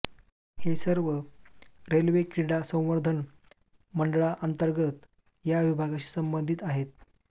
हे सर्व रेल्वे क्रीडा संवर्धन मंडळांतर्गत या विभागाशी संबंधित आहेत